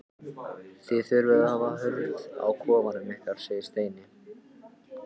Þið þurfið að hafa hurð á kofanum ykkar segir Steini.